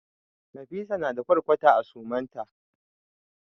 Nafisa na da ƙwarkwata a suman ta.